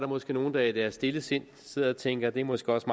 måske nogle der i deres stille sind sidder og tænker at det måske også